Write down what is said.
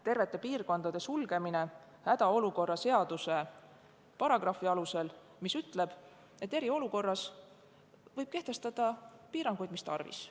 Terved piirkonnad suletakse hädaolukorra seaduse paragrahvi alusel, mis ütleb, et eriolukorras võib kehtestada piiranguid, mis tarvis.